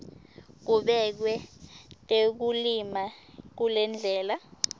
kubekwe tekulima kulendlela